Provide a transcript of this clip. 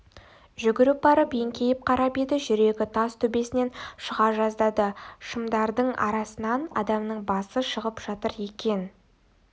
жүгіріп барып еңкейіп қарап еді жүрегі тас төбесінен шыға жаздады шымдардың арасынан адамның басы шығып жатыр екен